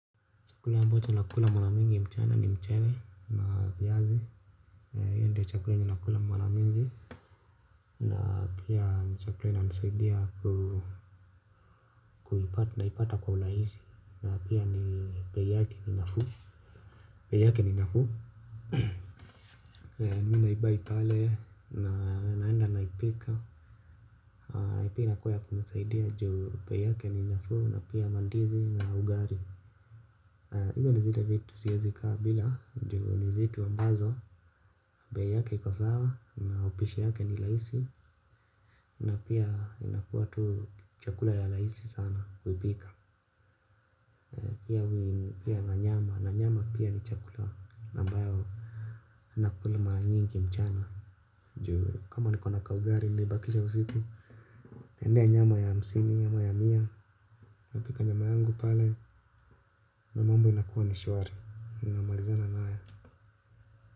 Chakula ambacho na kula maramingi mchana ni mchere na viazi. Hiyo ndio chakula nina kula maramingi. Na pia ni chakula inanisaidia kuipata na ipata kwa ulaisi. Na pia ni bei yake ni nafuu. Peyake ni nafu. Ninaibai pale na naenda naipika. Na pia inakuwa ya kunisaidia juu bei yake ni nafuu na pia mandizi na ugali. Izo nivile vitu siezi kaa bila juu ni vitu ambazo. Bei yake iko sawa, na upishi yake ni raisi. Na pia inakuwa tu chakula ya raisi sana. Kuipika pia na nyama, na nyama pia ni chakula. Na ambayo ninakula mara nyingi mchana. Kama nikona kaugali, nilibakisha usiku naendea nyama ya hamsini, nyama ya mia. Napika nyama yangu pale. Na mambo inakuwa ni shwari ninamalizana na yo.